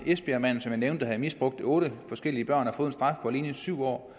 esbjergmanden som jeg nævnte der havde misbrugt otte forskellige børn og fået en straf på alene syv år